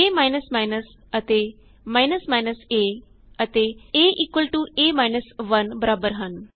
ਏ ਅਤੇ a ਅਤੇ a a 1 ਬਰਾਬਰ ਹਨ